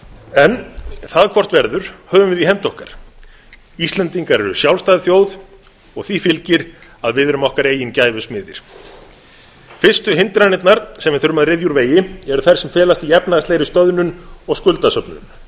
en það hvort verður höfum við í hendi okkar íslendingar eru sjálfstæð þjóð og því fylgir að við erum okkar eigin gæfu smiðir fyrstu hindranirnar sem við þurfum að ryðja úr vegi eru þær sem felast í efnahagslegri stöðnun og skuldasöfnun